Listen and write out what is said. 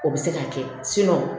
O bɛ se k'a kɛ